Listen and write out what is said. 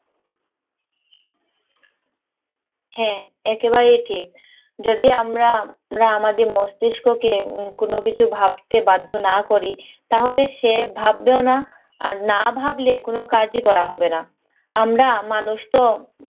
হ্যাঁ, একেবারেই ঠিক। যদি আমরা আমরা আমাদের মস্তিষ্ককে কোনো কিছু ভাবতে বাধ্য না করি তাহলে সে ভাববেও না, আর না ভাবলে কোনো কাজই করা হবে না। আমরা মানুষতো